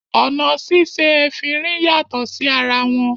Ọ̀nà síse efinrin yàtọ̀ sí ara wọn